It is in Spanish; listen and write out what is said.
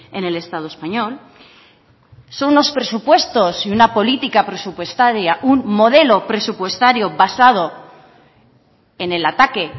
en el estado español son los presupuestos y una política presupuestaria un modelo presupuestario basado en el ataque